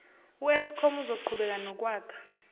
eskom uzoqhubeka nokwakha